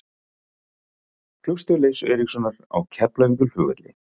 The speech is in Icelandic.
Flugstöð Leifs Eiríkssonar á Keflavíkurflugvelli.